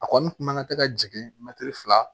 A kɔni kun mana kɛ ka jigin mɛtiri fila